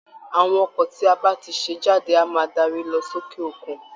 Àwọn ọkọ̀ tí a bá ti ṣe jáde á máa dárí lọ sókè òkun